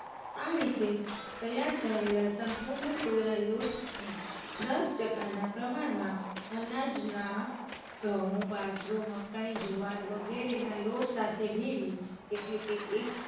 આ રીતે તૈયાર કરેલા સંપૂર્ણ સોયા લોટની દસ ટકાના પ્રમાણમાં અનાજના ઘઉં, બાજરો, મકાઈ, જુવાર વગેરેના લોટ સાથે ભેળવી, એટલે કે